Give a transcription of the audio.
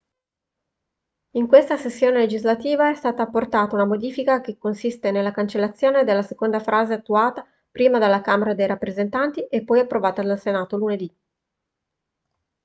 in questa sessione legislativa è stata apportata una modifica che consiste nella cancellazione della seconda frase attuata prima dalla camera dei rappresentanti e poi approvata dal senato lunedì